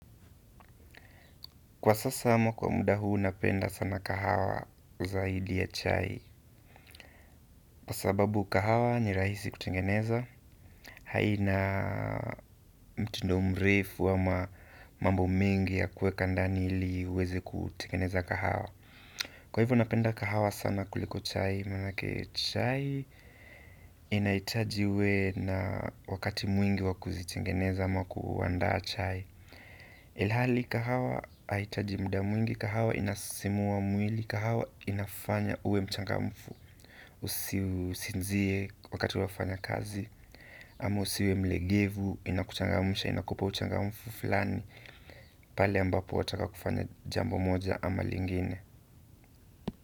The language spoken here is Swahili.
Kwa sasa ama kwa muda huu napenda sana kahawa zaidi ya chai kwa sababu kahawa ni rahisi kutengeneza haina mtindo mrefu ama mambo mengi ya kuweka ndani ili iweze kutengeneza kahawa. Kwa hivyo napenda kahawa sana kuliko chai manake chai inahitaji uwe na wakati mwingi wa kuzitingeneza ama kuandaa chai ilhali kahawa hai hitaji muda mwingi, kahawa inasisimua mwili, kahawa inafanya uwe mchangamfu. Usisinzie wakati unafanya kazi, ama usiwe mlegevu, inakuchangamsha inakupa uchangamfu fulani pale ambapo wataka kufanya jambo moja ama lingine.